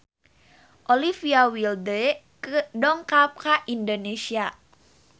Olivia Wilde dongkap ka Indonesia